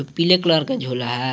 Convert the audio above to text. पीले कलर का झोला है।